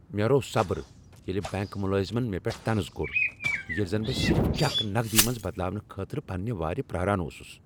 مےٚ روو صبر ییلِہ بینک ملٲزمن مےٚ پٮ۪ٹھ طنز کوٚر ییلِہ زن بہٕ صرف چیک نقد ی منز بدلاونہٕ خٲطرٕ پننِہ وارِ پرارن اوسس۔